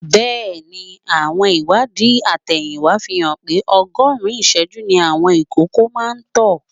Bẹ́ẹ̀ ni, àwọn ìwádìí àtẹ̀yìnwá fi hàn pé ogoogún ìṣẹ́jú ni àwọn ìkókó máa ń tọ̀.